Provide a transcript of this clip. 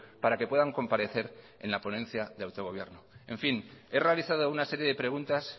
para que puedan comparecer en la ponencia de autogobierno he realizado una serie de preguntas